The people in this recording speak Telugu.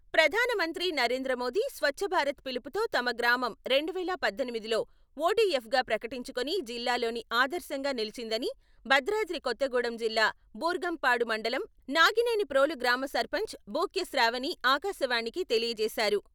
ప్రధానమంత్రి నరేంద్ర మోదీ స్వచ్చభారత్ పిలుపుతో తమ గ్రామం రెండు వేల పద్దెనిమిదిలో ఓ డి ఎఫ్ గా ప్రకటించుకుని జిల్లాలోని ఆదర్శంగా నిలిచిందని భద్రాద్రి కొత్తగూడెం జిల్లా బూర్గంపాడు మండలం నాగినేని ప్రోలు గ్రామ సర్పంచ్ భూక్య శ్రావణి ఆకాశవాణికి తెలియజేశారు.